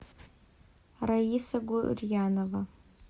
раиса гурьянова